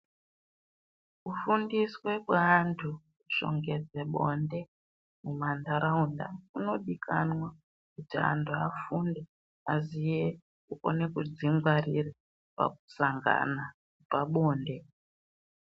Kufundiswe kweantu kushongedze bonde mumantaraunda kunodikanwa kuti antu afunde aziye kukone kudzingwarire pakusangana pabonde.